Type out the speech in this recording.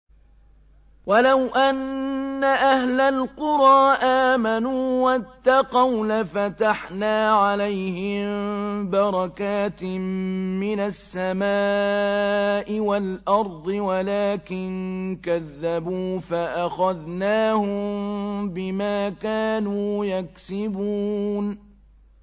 وَلَوْ أَنَّ أَهْلَ الْقُرَىٰ آمَنُوا وَاتَّقَوْا لَفَتَحْنَا عَلَيْهِم بَرَكَاتٍ مِّنَ السَّمَاءِ وَالْأَرْضِ وَلَٰكِن كَذَّبُوا فَأَخَذْنَاهُم بِمَا كَانُوا يَكْسِبُونَ